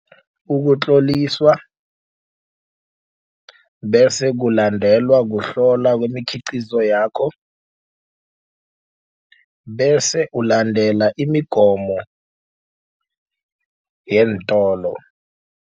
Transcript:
Ukutloliswa bese kulandelwa kuhlolwa kwemikhiqizo yakho bese ulandela imigomo yeentolo.